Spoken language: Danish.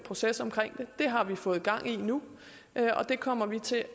proces omkring det det har vi fået gang i nu og det kommer vi til